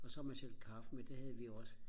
og så har man selv kaffe med det havde vi også